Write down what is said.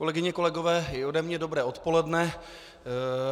Kolegyně, kolegové, i ode mě dobré odpoledne.